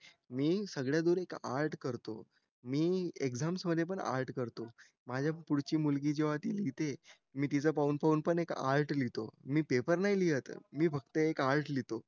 मी सगळ्या आर्ट करतो मी एक्झाम मध्ये पण आर्ट करतो माझ्या पुढची मुलगी जेव्हा ती लिहिते मी तिचं पाहून पाहून पण एक आर्ट लिहितो मी पेपर नाही लिहत मी फक्त एक आर्ट लिहितो